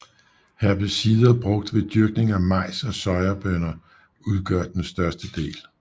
Herbicider brugt ved dyrkning af majs og sojabønner udgør den største del